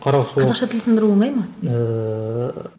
қазақша тіл сындыру оңай ма ыыы